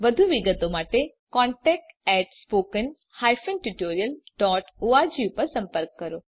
વધુ વિગત માટે contact spoken hyphen tutorial dot org પર સંપર્ક કરો